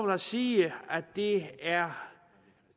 jeg sige at det er